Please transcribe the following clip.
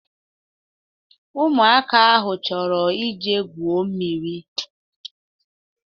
Ụmụaka ahụ chọrọ ije gwuo mmiri.